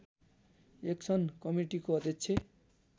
action कमिटीको अध्यक्ष